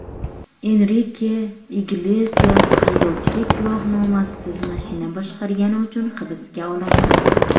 Enrike Iglesias haydovchilik guvohnomasisiz mashina boshqargani uchun hibsga olindi.